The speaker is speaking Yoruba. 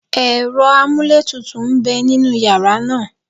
Ẹ̀rọ amúlétutù ń bẹ nínú yàrá náà